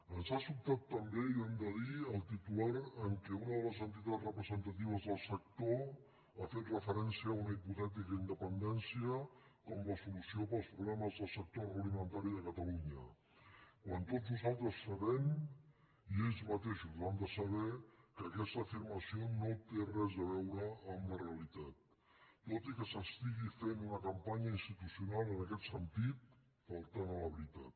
ens ha sobtat també i ho hem de dir el titular en què una de les entitats representatives del sector ha fet re·ferència a una hipotètica independència com la solució per als problemes del sector agroalimentari de cata·lunya quan tots nosaltres sabem i ells mateixos ho han de saber que aquesta afirmació no té res a veu·re amb la realitat tot i que s’està fent una campanya institucional en aquest sentit faltant a la veritat